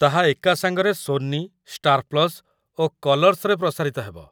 ତାହା ଏକାସାଙ୍ଗରେ Sony, Star Plus ଓ କଲର୍ସରେ ପ୍ରସାରିତ ହେବ।